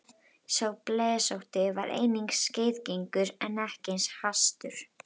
Sá blesótti var einnig skeiðgengur en ekki eins hastur.